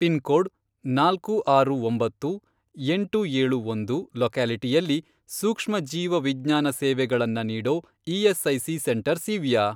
Pin code, ನಾಲ್ಕು ಆರು ಒಂಬತ್ತು, ಎಂಟು ಏಳು ಒಂದು, ಲೊಕ್ಯಾಲಿಟಿಯಲ್ಲಿ ಸೂಕ್ಷ್ಮ ಜೀವ ವಿಜ್ಞಾನ ಸೇವೆಗಳನ್ನ ನೀಡೋ ಇ.ಎಸ್.ಐ.ಸಿ. ಸೆಂಟರ್ಸ್ ಇವ್ಯಾ?